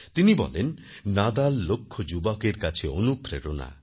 তিনি বলেন নাদাল লক্ষ যুবকের কাছে অনুপ্রেরণা